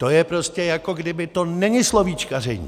To je prostě, jako kdyby - to není slovíčkaření.